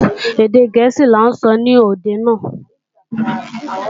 Èdè gẹ̀ẹ́sì ní n ó sọ ní òde náà